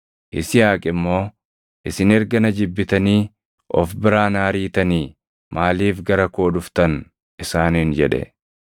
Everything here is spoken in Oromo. Yisihaaq immoo, “Isin erga na jibbitanii of biraa na ariitanii maaliif gara koo dhuftan?” isaaniin jedhe.